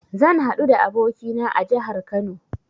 Zan haɗu da abokina a jahar Kano